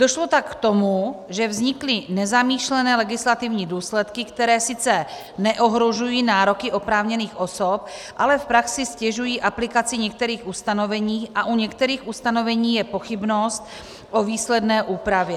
Došlo tak k tomu, že vznikly nezamýšlené legislativní důsledky, které sice neohrožují nároky oprávněných osob, ale v praxi ztěžují aplikaci některých ustanovení a u některých ustanovení je pochybnost o výsledné úpravě.